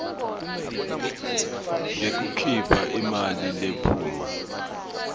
ngekukhipha imali lephuma